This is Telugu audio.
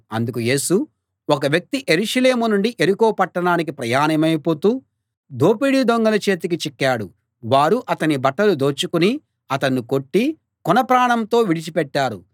అందుకు యేసు ఒక వ్యక్తి యెరూషలేము నుండి యెరికో పట్టణానికి ప్రయాణమై పోతూ దోపిడీ దొంగల చేతికి చిక్కాడు వారు అతని బట్టలు దోచుకుని అతణ్ణి కొట్టి కొన ప్రాణంతో విడిచి పెట్టారు